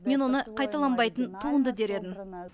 мен оны қайталанбайтын туынды дер едім